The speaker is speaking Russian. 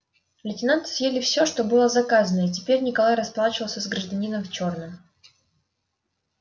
лейтенанты съели все что было заказано и теперь николай расплачивался с гражданином в чёрном